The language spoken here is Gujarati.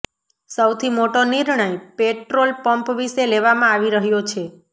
સૌથી મોટો નિર્ણય પેટ્રોલ પંપ વિશે લેવામાં આવી રહ્યો છે